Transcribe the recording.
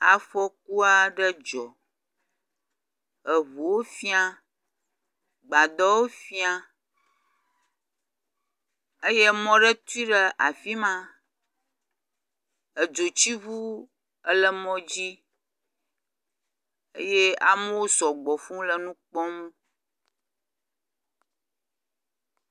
Afɔku aɖe dzɔ. Eŋuwo fia, gbadɔwo fia eye emɔ aɖe tui ɖe afi ma. Edzotsiŋu ele mɔ dzi eye amewo sɔgbɔ fuu le nu kpɔm.